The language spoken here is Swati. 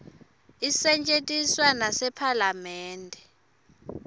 isetjentiswa nasephalamende